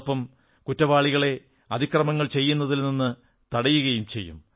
അതോടൊപ്പം കുറ്റവാളികളെ അതിക്രമങ്ങൾ ചെയ്യുന്നതിൽ നിന്നു തടയും